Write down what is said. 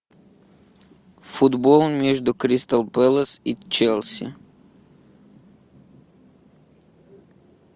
футбол между кристал пэлас и челси